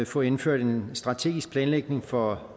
få indført en strategisk planlægning for